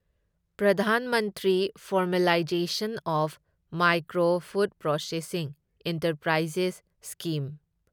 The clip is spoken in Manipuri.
Pradhan Mantri formalisation of micro food processing enterprises scheme